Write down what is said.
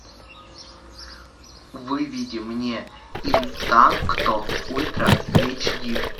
выведи мне интакто ультра эйч ди